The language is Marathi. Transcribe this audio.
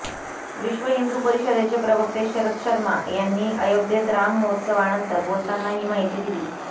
विश्व हिंदू परिषदेचे प्रवक्ते शरद शर्मा यांनी अयोध्येत राम महोत्सवानंतर बोलताना ही माहिती दिली